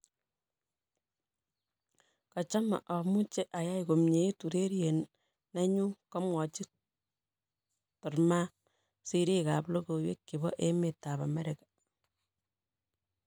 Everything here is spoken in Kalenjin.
Kachame amuche ayai komyeit ureriet neyun' komwachi Thurman siriik ab logoiwek chebo emet ab America